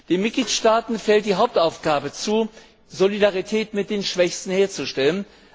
Den Mitgliedstaaten fällt die Hauptaufgabe zu, Solidarität mit den Schwächsten herzustellen.